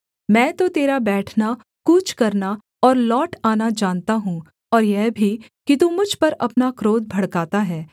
मैं तो तेरा बैठना कूच करना और लौट आना जानता हूँ और यह भी कि तू मुझ पर अपना क्रोध भड़काता है